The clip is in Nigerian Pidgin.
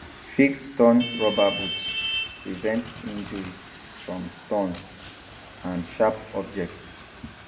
fix torn rubber boots prevent injuries from thorns and sharp objects